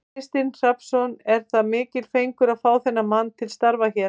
Kristinn Hrafnsson: Er það mikill fengur að fá þennan mann til starfa hér?